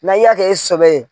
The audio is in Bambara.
Na i y'a kɛ i sɔbɛ ye